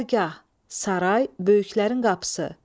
Dərgah, saray, böyüklərin qapısı.